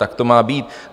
Tak to má být.